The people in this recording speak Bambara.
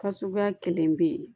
Ka suguya kelen bɛ yen